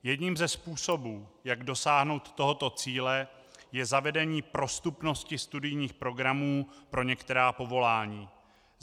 Jedním ze způsobů, jak dosáhnout tohoto cíle, je zavedení prostupnosti studijních programů pro některá povolání.